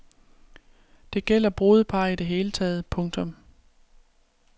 Det gælder brudepar i det hele taget. punktum